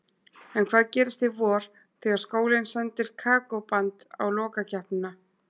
En hvað gerist í vor, þegar skólinn sendir Kókó-band á lokakeppnina?